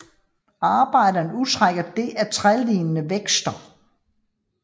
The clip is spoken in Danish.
Arbejderne udtrækker det af trælignende vækster